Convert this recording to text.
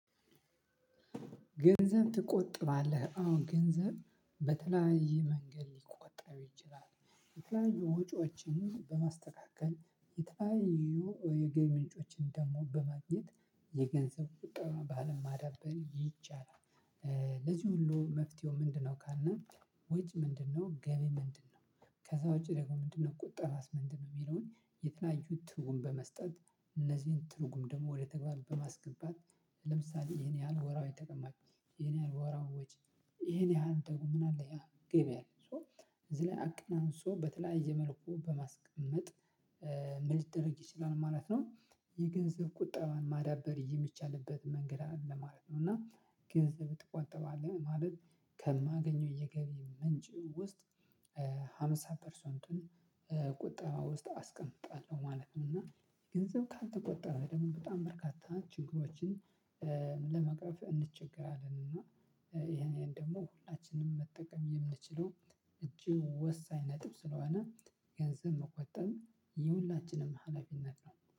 ገንዘብ ትቆጥባለህ አወ? ገንዘብ በተለያየ መንገድ ሊቆጠር ይችላል የተለያዩ ወጪዎችን በማስተካከል የተለያዩ የገቢ ምንጮችን ደግሞ በማግኘት የገንዘብ ቀጠባ ባህልን ማዳበር ይቻላል። ለዚህ ሁሉ መፍትሄው ምንድነው ካልነ? ወጪ ምንድነው ገቢ ምንድነው? ከዛ ወጪ ደግሞ ምንድነው ቁጠባስ ምንድንነው የሚለውን የተለያዩ ትርጉም በመስጠት እነዚህን ትርጉም ደግሞ ወደ ተግባር በማስገባት። ለምሳሌ ይሄን ያህል ወራዊ ተቀማጭ ይሄን ያህል ወራዊ ወጪ ይሄን ያህል ደግሞ ምንአለ ያ ገበያለ ሶ እዚህ ላይ አቅናንሶ በተለያየ መልኩ በማስቀመጥ። ምን ሊደረግ ይችላል ማለት ነው? የገንዘብ ቁጠባን ማዳበር የሚቻልበት መንገድ አለ ማለት ነው። እና ገንዘብ ትቆጥባለህ ማለት ከማገኘው የገቢ ምንጭ ውስጥ ሃምሳ ፐርሰንቱን ቁጠባ ውስጥ አስቀምጣለሁ ማለት ነው። እና ገንዘብ ካልተቆጠበ ደግሞ በጣም በርካታ ችግሮችን ለመቅረፍ እንቸገራለን። እና ይሄንን ደግሞ ሁላችንም መጠቀም የምንችለው እጅግ ወሳኝ ነጥብ ስለሆነ ገንዘብ መቆጠብ የሁላችንም ሀላፊነት ነው